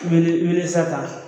Wele wele sata